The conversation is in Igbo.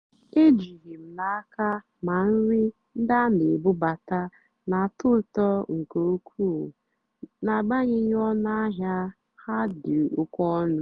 éjìghị́ m n'ákà mà nrì ndí á nà-èbúbátá nà-àtọ́ ụ́tọ́ nkè ùkwúù n'àgbányéghị́ ónú àhịá há dì́ óké ónú.